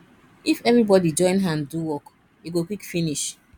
if everybody join hand do work e go quick finish